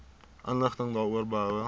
inligting daaroor behoue